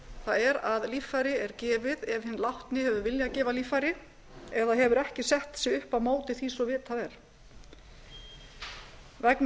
það er að líffæri er gefið ef hinn látni hefur viljað gefa líffæri eða hefur ekki sett sig upp á móti því svo vitað er vegna